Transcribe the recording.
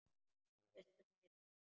Hvað viltu meira?